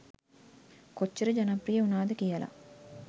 කොච්චර ජනප්‍රිය වුනාද කියලා.